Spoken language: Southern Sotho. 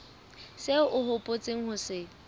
seo o hopotseng ho se